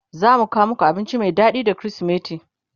zamu kawo maku abinci Mai daɗi da krismeti